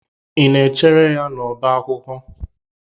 Ị na-echere ya n'ọbá akwụkwọ.